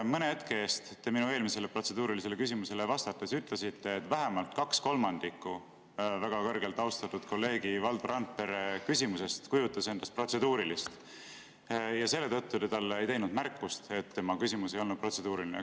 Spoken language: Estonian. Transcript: Mõne hetke eest te minu eelmisele protseduurilisele küsimusele vastates ütlesite, et vähemalt kaks kolmandikku väga kõrgelt austatud kolleegi Valdo Randpere küsimusest kujutas endast protseduurilist ja selle tõttu te ei teinud talle märkust, et tema küsimus ei olnud protseduuriline.